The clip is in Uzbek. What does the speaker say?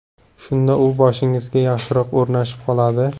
Shunda u boshingizga yaxshiroq o‘rnashib qoladi.